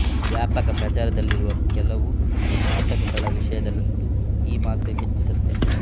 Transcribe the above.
ವ್ಯಾಪಕ ಪ್ರಚಾರದಲ್ಲಿರುವ ಕೆಲವು ನಾಟಕಗಳ ವಿಷಯದಲ್ಲಂತೂ ಈ ಮಾತು ಹೆಚ್ಚು ಸತ್ಯ